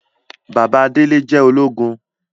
Bàbá Délé jẹ ologun